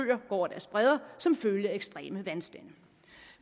over deres bredder som følge af ekstreme vandstande